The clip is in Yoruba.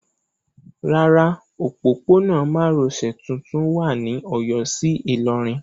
Rárá, òpópónà márosẹ̀ tuntun wà ní Ọ̀yọ́ sí Ìlọrin.